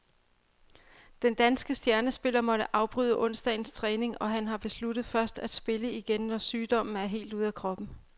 Den danske stjernespiller måtte afbryde onsdagens træning, og han har besluttet først at spille igen, når sygdommen er helt ude af kroppen.